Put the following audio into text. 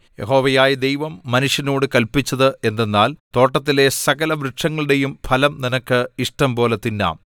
യഹോവയായ ദൈവം മനുഷ്യനോട് കല്പിച്ചത് എന്തെന്നാൽ തോട്ടത്തിലെ സകലവൃക്ഷങ്ങളുടെയും ഫലം നിനക്ക് ഇഷ്ടംപോലെ തിന്നാം